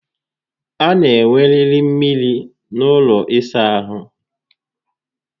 A na enweriri mmiri n'ụlọ ịsa ahụ